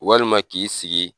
Walima k'i sigi